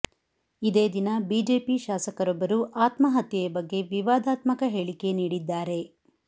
ಇದೇ ದಿನ ಬಿಜೆಪಿ ಶಾಸಕರೊಬ್ಬರು ಆತ್ಮಹತ್ಯೆಯ ಬಗ್ಗೆ ವಿವಾದಾತ್ಮಕ ಹೇಳಿಕೆ ನೀಡಿದ್ದಾರೆ